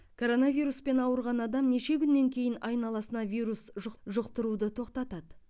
коронавируспен ауырған адам неше күннен кейін айналасына вирус жұқ жұқтыруды тоқтатады